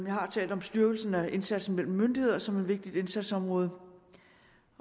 har talt om styrkelsen af indsatsen mellem myndigheder som et vigtigt indsatsområde